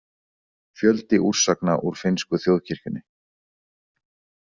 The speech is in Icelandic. Fjöldi úrsagna úr finnsku þjóðkirkjunni